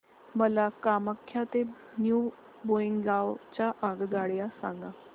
मला कामाख्या ते न्यू बोंगाईगाव च्या आगगाड्या सांगा